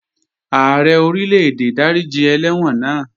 Ààrẹ Orílè-èdè dáríji ẹlẹ́wọ̀n náà